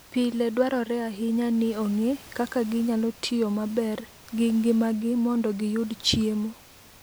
Pile dwarore ahinya ni ong'e kaka ginyalo tiyo maber gi ngimagi mondo giyud chiemo.